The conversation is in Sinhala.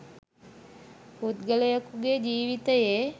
පුද්ගලයෙකුගේ ජීවිතයේ